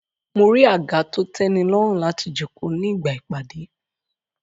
Mo rí àga to tẹ́nilọ́rùn láti jókòó ní ìgbà ìpàdé